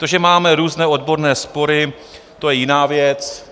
To, že máme různé odborné spory, to je jiná věc.